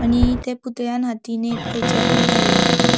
आणि ते पुतळ्यान हातींन एक खयचे बुक धर्ला.